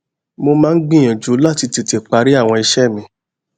mo máa ń gbìyànjú láti tètè parí àwọn iṣé mi